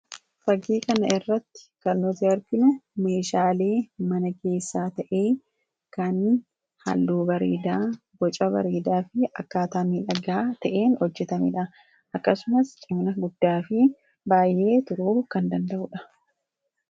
fagii kana irratti kannozerbin meeshaalee mana keessaa ta'ee kan halluu bariidaa goca bariidaa fi akkaataamii dhagaa ta'een hojjetamedha akkasumas cimna guddaa fi baay'ee turuu kan danda'udha